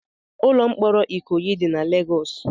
Ụlọ mkpọrọ Ikoyi dị na Lagos.